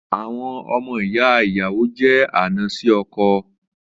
Àwọn ọmọ ìyá ìyàwó jé àna sì ọkọ